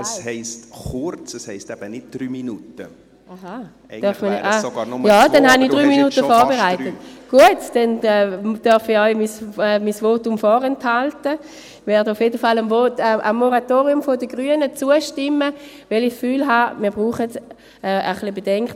Ich werde dem Moratorium der Grünen auf jeden Fall zustimmen, weil ich das Gefühl habe, wir brauchen ein bisschen Bedenkzeit, um zu schauen, in welche Richtung wir gehen wollen.